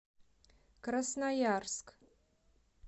красноярск